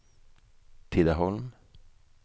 Tidaholm